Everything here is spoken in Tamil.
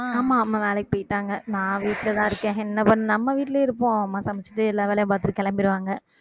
ஆஹ் ஆமா அம்மா வேலைக்கு போயிட்டாங்க நான் வீட்ல தான் இருக்கேன் என்ன பண்~ நம்ம வீட்லயே இருப்போம் அம்மா சமைச்சிட்டு எல்லா வேலையும் பாத்துட்டு கிளம்பிடுவாங்க